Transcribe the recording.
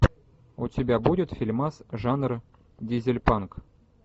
у тебя будет фильмас жанра дизельпанк